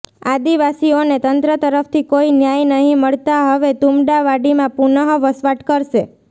આદિવાસીઓને તંત્ર તરફથી કોઇ ન્યાય નહીં મળતા હવે તુમડાવાડીમાં પુનઃ વસવાટ કરશે